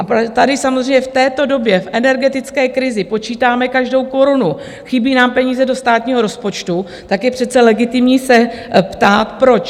A tady samozřejmě v této době v energetické krizi počítáme každou korunu, chybí nám peníze do státního rozpočtu, tak je přece legitimní se ptát: Proč?